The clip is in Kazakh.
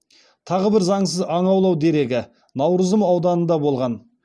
тағы бір заңсыз аң аулау дерегі наурызым ауданында болған